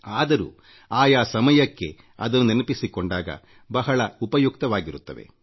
ಆದರೂ ಆಯಾ ಕಾಲ ಕಾಲಕ್ಕೆ ಅದನ್ನು ನೆನಪಿಸಿಕೊಂಡಾಗ ಬಹಳ ಉಪಯುಕ್ತವಾಗಿರುತ್ತವೆ